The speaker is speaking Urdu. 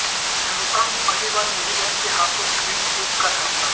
ہندستان کو پہلی بار نیوزی لینڈ کے ہاتھوں کلین سویپ کا سامنا